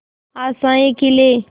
आशाएं खिले